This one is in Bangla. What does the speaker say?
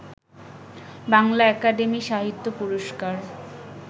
বাংলা একাডেমী সাহিত্য পুরস্কার